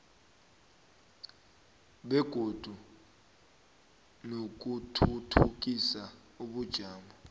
begodu nokuthuthukisa ubujamo